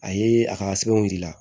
A ye a ka sɛbɛnw yir'i la